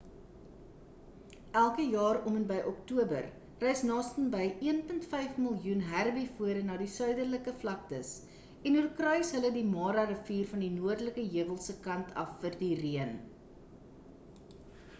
elke jaar om en by oktober reis nastenby 1.5 miljoen herbivore na die suiderlike vlaktes en oorkruis hulle die mara rivier van die noordelike heuwels se kant af vir die reën